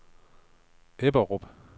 Ebberup